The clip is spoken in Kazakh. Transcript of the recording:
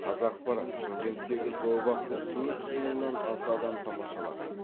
қазақпарат шымкенттегі зообақты төрт жүз мыңнан аса адам тамашалаған